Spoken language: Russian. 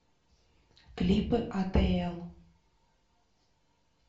клипы атл